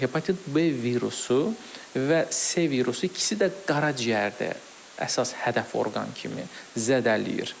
Hepatit B virusu və C virusu ikisi də qaraciyəri əsas hədəf orqan kimi zədələyir.